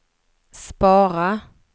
spara